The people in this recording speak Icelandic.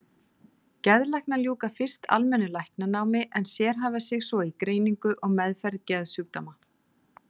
Geðlæknar ljúka fyrst almennu læknanámi en sérhæfa sig svo í greiningu og meðferð geðsjúkdóma.